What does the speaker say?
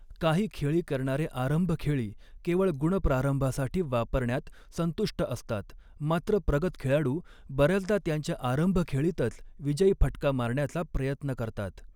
काही खेळी करणारे आरंभखेळी केवळ गुण प्रारंभासाठी वापरण्यात संतुष्ट असतात, मात्र प्रगत खेळाडू बर्याचदा त्यांच्या आरंभखेळीतच विजयी फटका मारण्याचा प्रयत्न करतात.